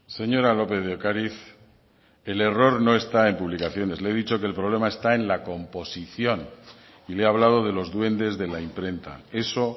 señora lópez de ocariz el error no está en publicaciones le he dicho que el problema está en la composición y le he hablado de los duendes de la imprenta eso